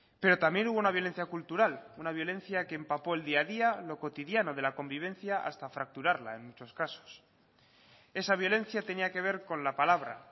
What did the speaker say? pero también hubo una violencia cultural una violencia que empapó el día a día lo cotidiano de la convivencia hasta fracturarla en muchos casos esa violencia tenía que ver con la palabra